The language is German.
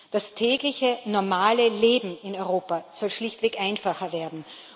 Das tägliche normale Leben in Europa soll schlichtweg einfacher werden.